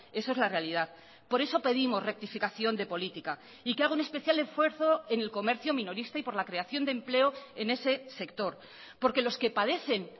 eso es la realidad por eso pedimos rectificación de política y que haga un especial esfuerzo en el comercio minorista y por la creación de empleo en ese sector porque los que padecen